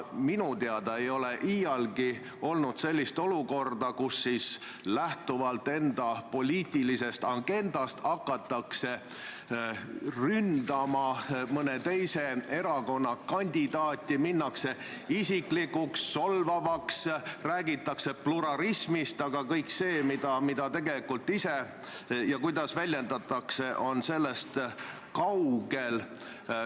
Minu teada ei ole iialgi olnud sellist olukorda, kus lähtuvalt enda poliitilisest agendast hakatakse ründama mõne teise erakonna kandidaati, minnakse isiklikuks, solvavaks, räägitakse pluralismist, aga kõik see, mida ja kuidas ise väljendatakse, on sellest kaugel.